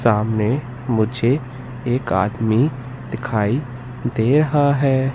सामने मुझे एक आदमी दिखाई दे रहा है।